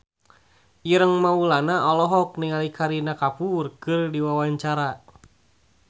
Ireng Maulana olohok ningali Kareena Kapoor keur diwawancara